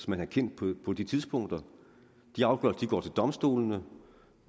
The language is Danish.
man har kendt på de tidspunkter de afgørelser går til domstolene